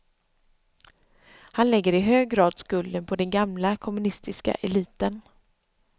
Han lägger i hög grad skulden på den gamla kommunistiska eliten.